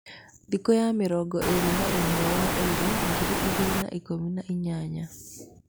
Thĩkũya mĩrongo ĩrĩ na ĩmwe wa ĩrĩ ,ngiri igĩrĩ na ikũmi na inyanya.